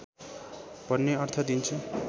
भन्ने अर्थ दिन्छ